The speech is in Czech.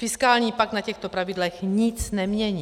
Fiskální pakt na těchto pravidlech nic nemění.